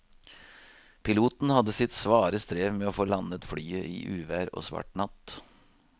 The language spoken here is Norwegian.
Piloten hadde sitt svare strev med å få landet flyet i uvær og svart natt.